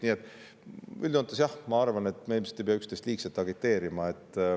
Nii et üldjoontes ma arvan, et ilmselt me ei pea üksteist liigselt agiteerima.